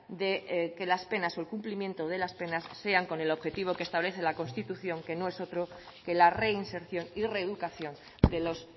de que las penas o el cumplimiento de las penas sean con el objetivo que establece la constitución que no es otro que la reinserción y reeducación de los